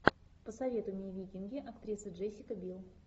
посоветуй мне викинги актриса джессика бил